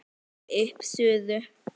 Náið upp suðu.